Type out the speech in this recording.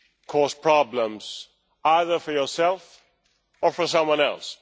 cause problems either for yourself or for someone else.